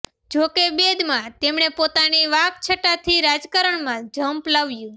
જો કે બૈદમાં તેમણે પોતાની વાકછટાથી રાજકારણમાં જંપ લાવ્યું